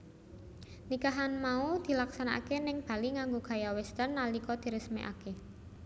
Nikahan mau dilaksanakaké ning Bali nganggo gaya Western nalika diresmikaké